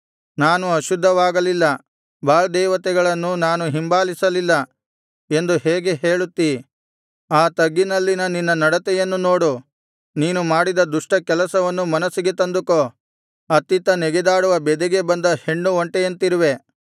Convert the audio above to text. ನಾನು ಅಶುದ್ಧವಾಗಲಿಲ್ಲ ಬಾಳ್ ದೇವತೆಗಳನ್ನು ನಾನು ಹಿಂಬಾಲಿಸಲಿಲ್ಲ ಎಂದು ಹೇಗೆ ಹೇಳುತ್ತಿ ಆ ತಗ್ಗಿನಲ್ಲಿನ ನಿನ್ನ ನಡತೆಯನ್ನು ನೋಡು ನೀನು ಮಾಡಿದ ದುಷ್ಟ ಕೆಲಸವನ್ನು ಮನಸ್ಸಿಗೆ ತಂದುಕೋ ಅತ್ತಿತ್ತ ನೆಗೆದಾಡುವ ಬೆದೆಗೆ ಬಂದ ಹೆಣ್ಣು ಒಂಟೆಯಂತಿರುವೆ